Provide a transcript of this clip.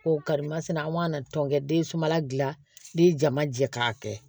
Ko karimasina an ma tɔnkɛ den sunbala gilan ni jama jɛ k'a kɛ